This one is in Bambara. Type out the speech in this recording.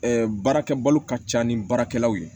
baarakɛ balo ka ca ni baarakɛlaw ye